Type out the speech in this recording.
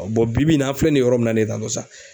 bi bi in na an filɛ nin yɔrɔ min na nin tan tɔ sa